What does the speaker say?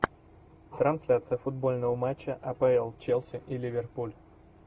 трансляция футбольного матча апл челси и ливерпуль